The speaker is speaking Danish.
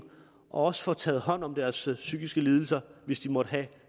og også får taget hånd om deres psykiske lidelser hvis de måtte